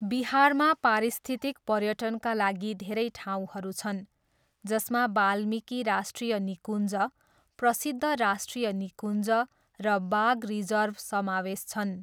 बिहारमा पारिस्थितिक पर्यटनका लागि धेरै ठाउँहरू छन्, जसमा वाल्मीकि राष्ट्रिय निकुञ्ज, प्रसिद्ध राष्ट्रिय निकुञ्ज र बाघ रिजर्भ समावेश छन्।